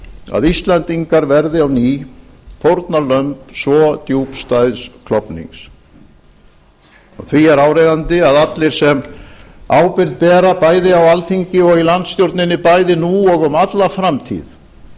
að íslendingar verði á ný fórnarlömb svo djúpstæðs klofnings því er áríðandi að allir sem ábyrgð bera bæði á alþingi og í landstjórninni bæði nú og um alla framtíð